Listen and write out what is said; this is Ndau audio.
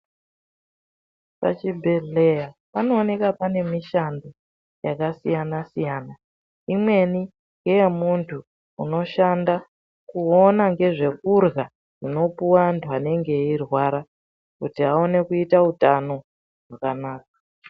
Pachibhedhleya panooneka pane mushando yakasiyana-siyana. Imweni ngeye muntu unoshanda kuona ngezvekurya zvinopuva antu anenge eirwara. Kuti aone kuita utano hwakanaka.